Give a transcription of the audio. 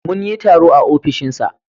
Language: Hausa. Mun yi taro a ofishinsa.